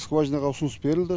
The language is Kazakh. скважинаға ұсыныс берілді